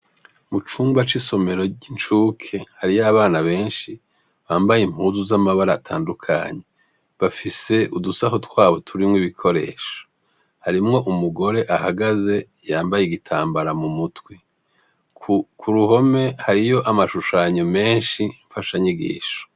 Mucumba cisomero cicuki hariho abana benshi bambaye impuzu zamabara atandukanye bafise udusaho twabo turimwo ibikoresho harimwo umugore ahagaze yambaye igitambara mumutwe kuruhome hariho amashushanyo menshi mfasha nyigisho